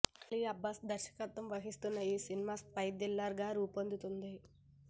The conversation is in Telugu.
అలీ అబ్బాస్ దర్శకత్వం వహిస్తున్న ఈ సినిమా స్పై థ్రిల్లర్ గా రూపొందుతుంది